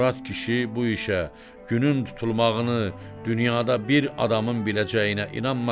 Murad kişi bu işə, günün tutulmağını, dünyada bir adamın biləcəyinə inanmırdı.